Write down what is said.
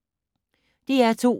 DR2